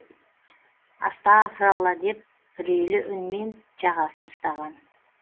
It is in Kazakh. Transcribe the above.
астафыралла а деп үрейлі үнмен жағасын ұстаған